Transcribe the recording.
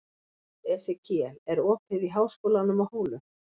Esekíel, er opið í Háskólanum á Hólum?